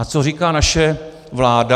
A co říká naše vláda?